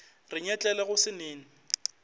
re nyetlele go se nene